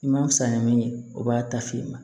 I ma fisa ni min ye o b'a ta f'i ma